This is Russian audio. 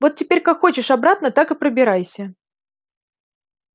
вот теперь как хочешь обратно так и пробирайся